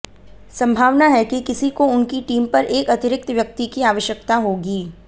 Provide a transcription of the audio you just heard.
संभावना है कि किसी को उनकी टीम पर एक अतिरिक्त व्यक्ति की आवश्यकता होगी